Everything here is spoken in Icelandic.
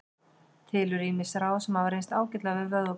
Til eru ýmis ráð sem hafa reynst ágætlega við vöðvabólgu.